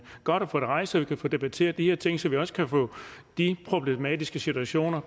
godt at få det rejst så vi kan få debatteret de her ting og så vi også kan få de problematiske situationer